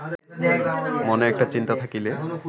মনে একটা চিন্তা থাকিলে